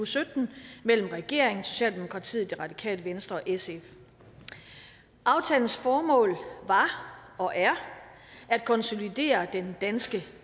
og sytten mellem regeringen socialdemokratiet det radikale venstre og sf aftalens formål var og er at konsolidere den danske